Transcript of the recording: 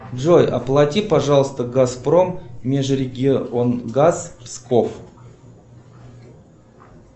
джой оплати пожалуйста газпром межрегионгаз псков